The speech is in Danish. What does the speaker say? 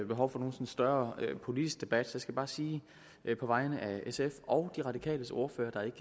behov for nogen større politisk debat jeg skal bare sige på vegne af sf og de radikales ordfører der ikke